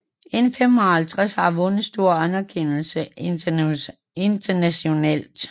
N55 har vundet stor anerkendelse internationalt